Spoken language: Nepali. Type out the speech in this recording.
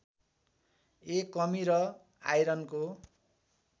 ए कमी र आइरनको